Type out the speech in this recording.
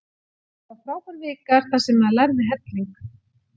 Það var frábær vika þar sem maður lærði helling.